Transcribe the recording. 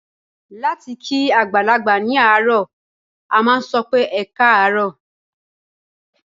Láti kí àgbàlagbà ní àárọ̀, a máa sọ pé "ẹkáàárọ̀".